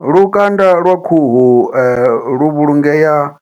Lukanda lwa khuhu lu vhulungea